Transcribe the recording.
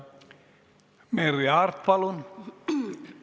Merry Aart, palun!